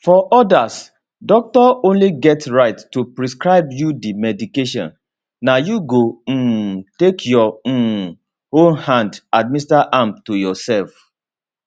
for odas doctor only get right to prescribe you di medication na you go um take your um own hand administer am to yourself